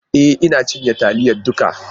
E! Ina cinye taliyar duka.